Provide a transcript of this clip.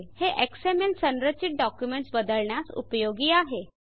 हे एक्सएमएल संरचित डॉक्युमेंट्स बदलण्यास उपयोगी आहे